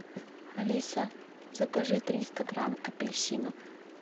алиса закажи триста грамм апельсинов